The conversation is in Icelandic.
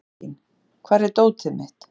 Valentín, hvar er dótið mitt?